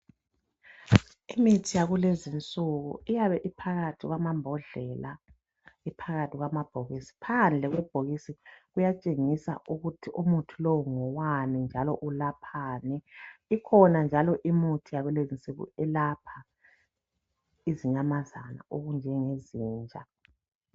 Imithi yakulezi insuku iyabe iphakathi kwamambodlela ,iphakathi kwamabhokisi. Phandle kwebhokisi kuyatshengisa ukuthi umuthi lowu ngowani njalo ulaphani. Ikhona njalo imithi yakulezi insuku elapha izinyamazane okunjengezinja.